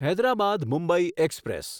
Hyderabad Mumbai express